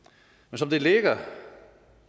som det ligger